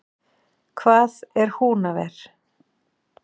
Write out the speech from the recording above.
Hvað er Húnaver?